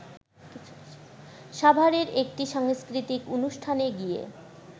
সাভারের একটি সাংস্কৃতিক অনুষ্ঠানে গিয়ে